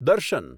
દર્શન